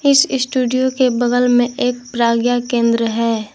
इस स्टूडियो के बगल में एक प्रज्ञा केंद्र है।